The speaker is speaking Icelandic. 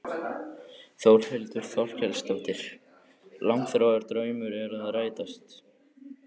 Þórhildur Þorkelsdóttir: Langþráður draumur að rætast?